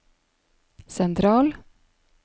sentral